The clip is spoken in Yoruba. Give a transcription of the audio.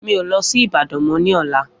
Mi o lọ sí Ìbàdàn mo ní ọ̀la